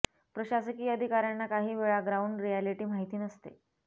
प्रशासकीय अधिकाऱ्यांना काही वेळा ग्राऊंड रिअॅलिटी माहिती नसते